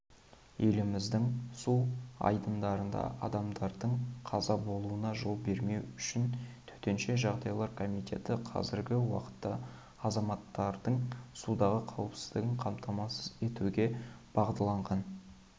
еліміздің су айдындарында адамдардың қаза болуына жол бермеу үшін төтенше жағдайлар комитеті қазіргі уақытта азаматтардың судағы қауіпсіздігін қамтамасыз етуге бағытталған шаралар